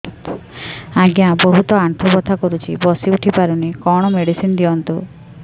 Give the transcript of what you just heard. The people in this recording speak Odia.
ଆଜ୍ଞା ବହୁତ ଆଣ୍ଠୁ ବଥା କରୁଛି ବସି ଉଠି ପାରୁନି କଣ ମେଡ଼ିସିନ ଦିଅନ୍ତୁ